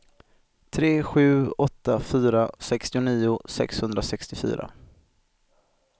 tre sju åtta fyra sextionio sexhundrasextiofyra